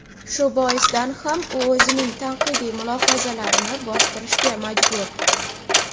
shu boisdan ham u o‘zining tanqidiy mulohazalarini bostirishga majbur.